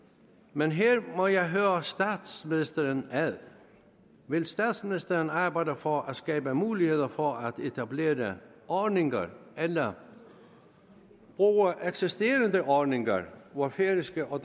men her må jeg høre statsministeren ad vil statsministeren arbejde for at skabe muligheder for at etablere ordninger eller bruge eksisterende ordninger hvor færøske og